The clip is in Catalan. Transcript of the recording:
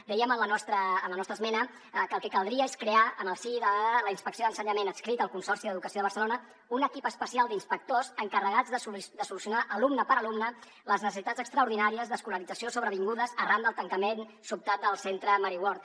dèiem en la nostra esmena que el que caldria és crear en el si de la inspecció d’ensenyament adscrita al consorci d’educació de barcelona un equip especial d’inspectors encarregats de solucionar alumne per alumne les necessitats extraordinàries d’escolarització sobrevingudes arran del tancament sobtat del centre mary ward